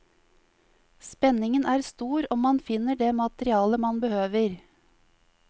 Spenningen er stor om man finner det materialet man behøver.